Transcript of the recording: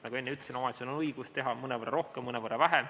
Nagu ma enne ütlesin, omavalitsusel on õigus teha mõnevõrra rohkem ja mõnevõrra vähem.